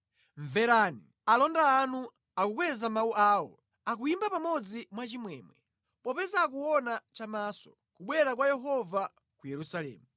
Mverani! Alonda anu akukweza mawu awo; akuyimba pamodzi mwachimwemwe. Popeza akuona chamaso kubwera kwa Yehova ku Yerusalemu.